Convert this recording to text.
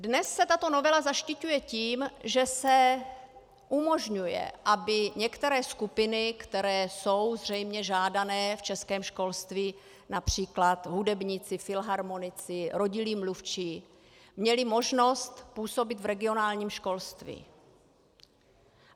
Dnes se tato novela zaštiťuje tím, že se umožňuje, aby některé skupiny, které jsou zřejmě žádané v českém školství, například hudebníci, filharmonici, rodilí mluvčí, měly možnost působit v regionálním školství.